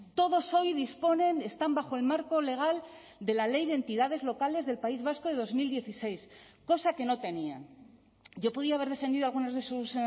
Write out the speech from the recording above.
todos hoy disponen están bajo el marco legal de la ley de entidades locales del país vasco de dos mil dieciséis cosa que no tenían yo podía haber defendido algunas de sus